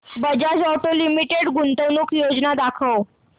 Bajaj auto limited गुंतवणूक योजना दाखव